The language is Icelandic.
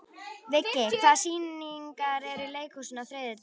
Viggi, hvaða sýningar eru í leikhúsinu á þriðjudaginn?